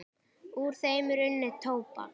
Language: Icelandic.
Úr þeim er unnið tóbak.